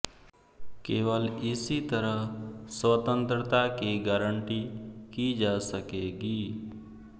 केवल इसी तरह स्वतंत्रता की गारंटी की जा सकेगी